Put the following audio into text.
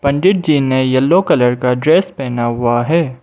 पंडित जी ने yellow colour का dress पहना हुआ है।